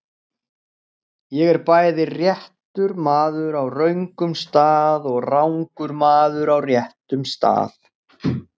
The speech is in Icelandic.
Ég er bæði réttur maður á röngum stað og rangur maður á réttum stað.